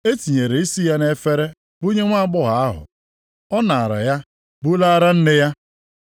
E tinyere isi ya nʼefere bunye nwaagbọghọ ahụ. Ọ naara ya bulaara nne ya.